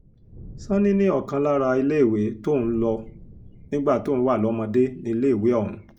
sanni ní ọ̀kan lára iléèwé tóun lò nígbà tóun wà lọ́mọdé níléèwé ọ̀hún